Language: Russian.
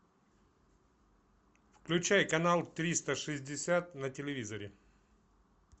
включай канал триста шестьдесят на телевизоре